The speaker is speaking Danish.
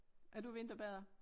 Er du vinterbader?